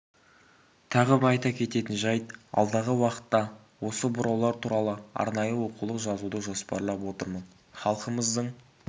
тағы бір айта кететін жайт алдағы уақытта осы бұраулар туралы арнайы оқулық жазуды жоспарлап отырмын халқымыздың